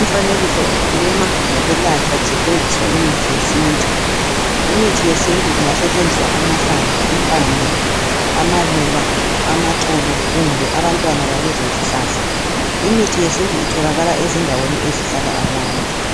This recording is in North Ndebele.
Umfanekiso ukhuluma ngokwelatshwa kusetshenziswa imithi yesintu, Imithi yesintu kungasetshenziswa amahlamvu, impande, amaluba, amaxolo kumbe abantwana balezo zihlahla imithi yesintu itholakala ezindaweni ezihlala abantu .